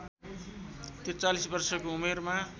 ४३ वर्षको उमेरमा